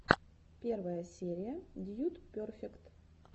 первая серия дьюд перфект